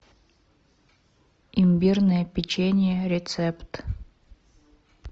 имбирное печенье рецепт